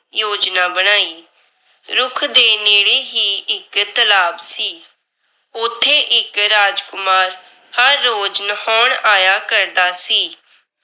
ਯੋਜਨਾ ਬਣਾਈ। ਰੁੱਖ ਦੇ ਨੇੜੇ ਹੀ ਇੱਕ ਤਲਾਬ ਸੀ। ਉੱਥੇ ਇੱਕ ਰਾਜਕੁਮਾਰਹਰ ਰੋਜ ਨਹਾਉਣ ਆਇਆ ਕਰਦਾ ਸੀ।